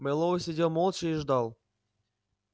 мэллоу сидел молча и ждал